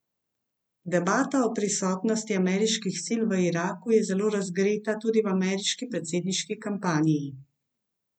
Debata o prisotnosti ameriških sil v Iraku je zelo razgreta tudi v ameriški predsedniški kampanji.